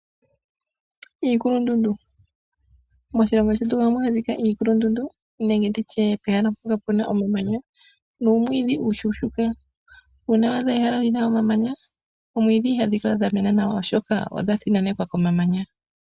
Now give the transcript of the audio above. Iikulundundu. Moshilongo shetu ohamu adhika iikulundundu nenge pehala mpoka puna omamanya nuumwiidhi uushuushuuka. Uuna wadha ehala lina omamanya , oomwiidhi ihadhi kala dha mena nawa oshoka odha thinanekwa komamanya.